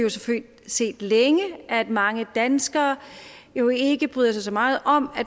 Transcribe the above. set længe at mange danskere jo ikke bryder sig så meget om